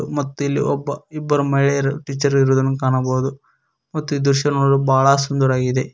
ಮತ್ತು ಇಲ್ಲಿ ಒಬ್ಬ ಇಬ್ಬರು ಮಹಿಳೆಯರು ಟೀಚರ್ ಇರುವುದನ್ನು ಕಾಣಬಹುದು ಮತ್ತು ಈ ದೃಶ್ಯ ನೋಡಲು ಬಹಳ ಸುಂದರವಾಗಿದೆ.